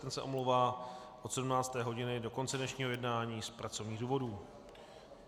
Ten se omlouvá od 17. hodiny do konce dnešního jednání z pracovních důvodů.